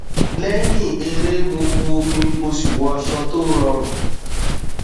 lẹyìn eré mo bu omi mo sì wọ aṣọ tó rọrùn